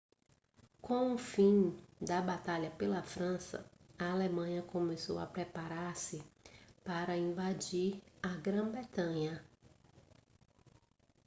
com o fim da batalha pela frança a alemanha começou a preparar-se para invadir a grã-bretanha